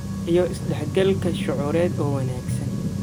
iyo is dhexgalka shucuureed oo wanaagsan.